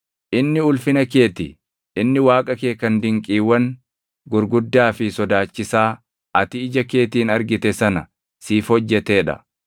Inni ulfina kee ti; inni Waaqa kee kan dinqiiwwan gurguddaa fi sodaachisaa ati ija keetiin argite sana siif hojjetee dha.